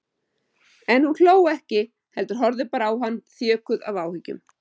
En hún hló ekki heldur horfði bara á hann þjökuð af áhyggjum.